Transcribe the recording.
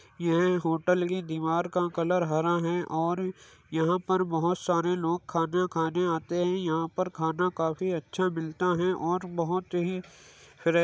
येह होटल की दीवार का कलर हरा है और यहां पर बोहोत सारे लोग खाना खाने आते हैं। यहां पर खाना काफी अच्छा मिलता है और बोहोत ही रे --